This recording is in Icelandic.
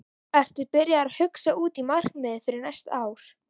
Ertu byrjaður að hugsa út í markmið fyrir næsta ár?